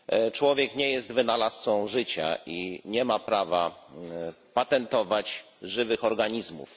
Człowiek nie jest wynalazcą życia i nie ma prawa patentować żywych organizmów.